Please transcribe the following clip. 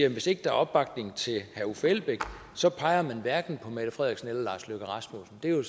at hvis ikke der er opbakning til herre uffe elbæk så peger man hverken på mette frederiksen eller lars løkke rasmussen det er jo